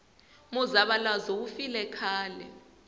muzavalazo wu file khale